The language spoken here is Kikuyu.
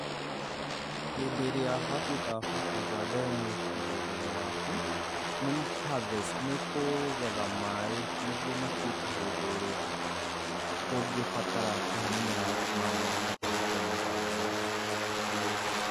Hĩndĩ ĩrĩa watuĩka wa kũenja ndemu mũgũnda-inĩ waku, nĩ mũ kũ harvest nĩ kũgetha maĩ nĩguo matuĩke hĩndĩ ĩrĩa ũngĩbatara kũhe mĩmera yaku maĩ na ũhote kũhe hatarĩ na thĩna o wothe.